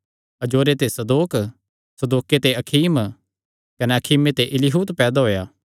अजोरे ते सदोक सदोके ते अखीम कने अखीमे ते इलीहूद पैदा होएया